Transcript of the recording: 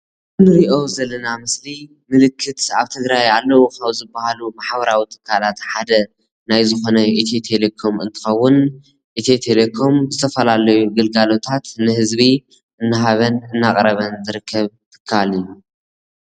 እዚ እንሪኦ ዘለና ምስሊ ምልክት ኣብ ትግራይ ኣለው ኣብ ዝበሃሉ ማሕበራዊ ትካላት ሓደ ናይ ዝኮነ ኢትዮ ቴሌኮም እንትከውን፣ ኢትዮ ቴሌኮም ዝተፈላለዩ ግሉጋሎታት ንህዝቢ እናሃበ እናቕረበን ዝርከብ ትካል እዩ::